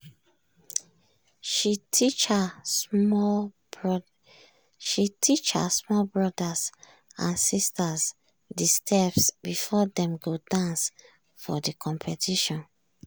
she teach her small brothers and sisters de steps before dem go dance for de competition.